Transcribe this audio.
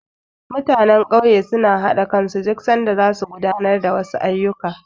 Mutanen ƙauye suna haɗa kansu duk sanda zasu gudanar da wasu ayyuka.